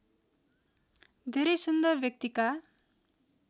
धेरै सुन्दर व्यक्तिका